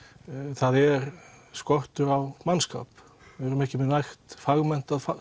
það er skortur á mannskap við erum ekki með nægt fagmenntað